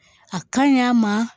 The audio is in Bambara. A ka ɲi a ma